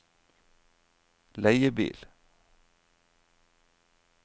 leiebil